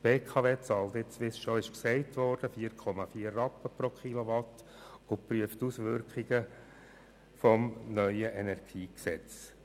Die BKW bezahlt nun 4,4 Rappen pro Kilowatt und prüft die Auswirkungen des neuen Energiegesetzes.